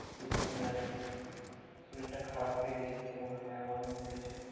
এই জন্যই আর কি শরীরটা খারাপ হয়ে গেছে তোর মনে হয়। আমার মনে হচ্ছে।